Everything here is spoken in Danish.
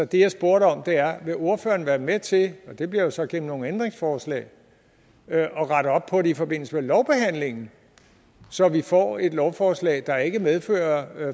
det jeg spurgte om er vil ordføreren være med til og det bliver jo så gennem nogle ændringsforslag at rette op på det i forbindelse med lovbehandlingen så vi får et lovforslag der ikke medfører